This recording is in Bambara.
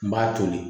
N b'a toli